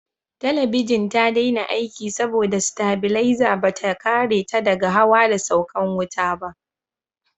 Talabijin ta daina aiki saboda tabilaza bata kare ta daga hawa da saukan wuta ba